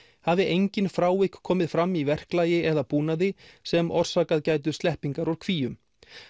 hafi engin frávik komið fram í verklagi eða búnaði sem orsakað gætu sleppingar úr kvíum